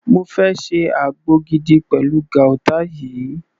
Mo fẹ́ ṣe àgbo gidi pẹ̀lú guata yìí.